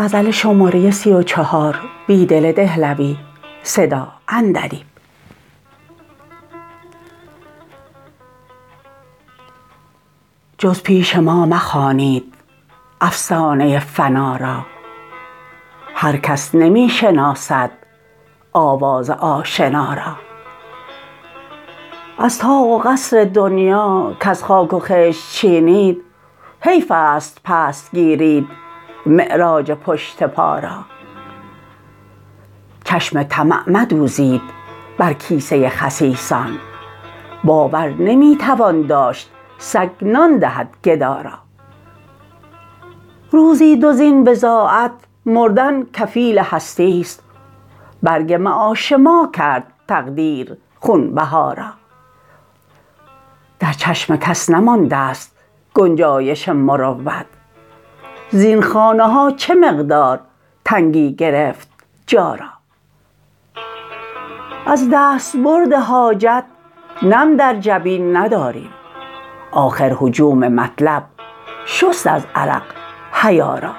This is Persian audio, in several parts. جز پیش ما مخوانید افسانه فنا را هر کس نمی شناسد آواز آشنا را از طاق و قصر دنیا کز خاک و خشت چینید حیف است پست گیرید معراج پشت پا را چشم طمع مدوزید بر کیسه خسیسان باور نمی توان داشت سگ نان دهد گدا را روزی دو زین بضاعت مردن کفیل هستی ست برگ معاش ما کرد تقدیر خون بها را در چشم کس نمانده ست گنجایش مروت زین خانه ها چه مقدار تنگی گرفت جا را از دستبرد حاجت نم در جبین نداریم آخر هجوم مطلب شست از عرق حیا را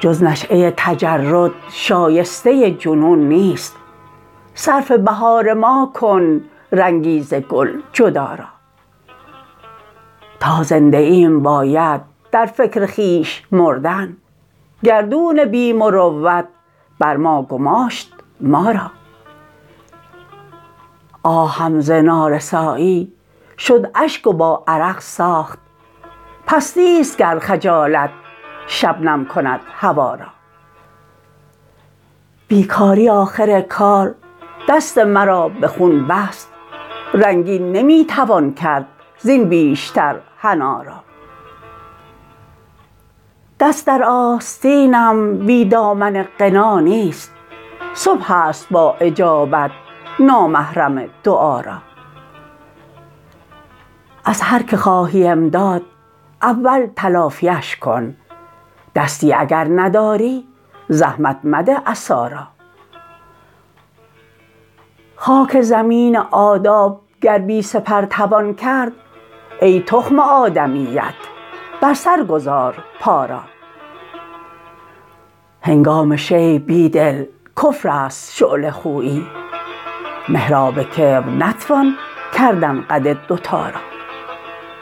جز نشیه تجرد شایسته جنون نیست صرف بهار ما کن رنگی ز گل جدا را تا زنده ایم باید در فکر خویش مردن گردون بی مروت بر ما گماشت ما را آهم ز نارسایی شد اشک و با عرق ساخت پستی ست گر خجالت شبنم کند هوا را بیکاری آخر کار دست مرا به خون بست رنگین نمی توان کرد زین بیشتر حنا را دست در آستینم بی دامن غنا نیست صبح است با اجابت نامحرم دعا را از هر که خواهی امداد اول تلافی اش کن دستی اگر نداری زحمت مده عصا را خاک زمین آداب گر پی سپر توان کرد ای تخم آدمیت بر سر گذار پا را هنگام شیب بیدل کفر است شعله خویی محراب کبر نتوان کردن قد دوتا را